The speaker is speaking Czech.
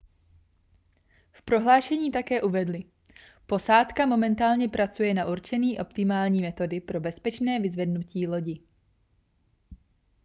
v prohlášení také uvedli posádka momentálně pracuje na určení optimální metody pro bezpečné vyzvednutí lodi